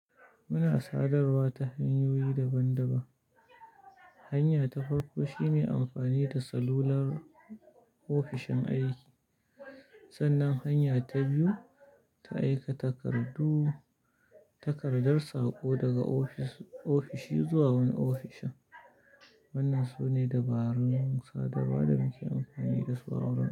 Muna sadarwa ta hanyoyi daban-daban. Hanya ta farko shine amfani da salular ofishin aiki, sannan hanya ta biyu ta aika takardu, takardar saƙo daga ofis, ofishi zuwa wani ofishin. Wannan su ne dabarun sadarwa da muke amfani da su a wurin aiki.